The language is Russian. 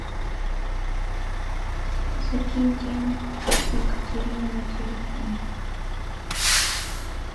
закинь денег екатерине на телефон